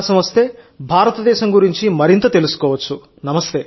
అ అవకాశం వస్తే భారతదేశం గురించి మరింత తెలుసుకోవచ్చు